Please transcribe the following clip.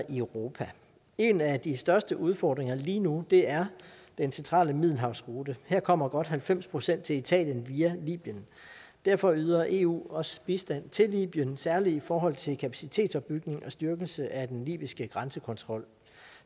i europa en af de største udfordringer lige nu er den centrale middelhavsrute her kommer godt halvfems procent til italien via libyen derfor yder eu også bistand til libyen særlig i forhold til kapacitetsopbygning og styrkelse af den libyske grænsekontrol